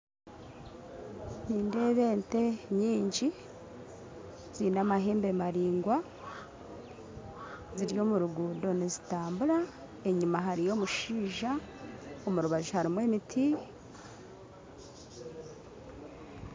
Nindeeba ente nyingi, ziine amahembe maraingwa, ziri omu ruguuto nizitambura enyima hariyo omushaija , omu rubaju harimu emiti.